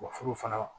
Wa furu fana